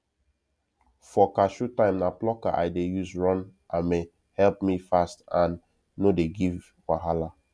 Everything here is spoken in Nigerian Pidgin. for cashew time na plucker i dey use run ame help me fast and no dey give wahala